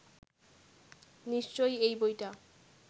নিশ্চয়ই এই বইটা